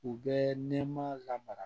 U bɛ nɛmaya lamara